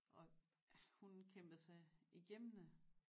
Og hun kæmpede sig igennem det